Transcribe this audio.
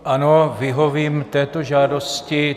Ano, vyhovím této žádosti.